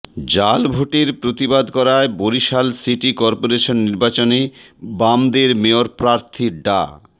জাল ভোটের প্রতিবাদ করায় বরিশাল সিটি করপোরেশন নির্বাচনে বাসদের মেয়র প্রার্থী ডা